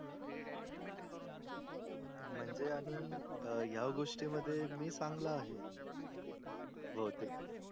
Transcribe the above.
म्हणजे आणि हया गोष्टी मध्ये मी चांगला आहे. बहुतेक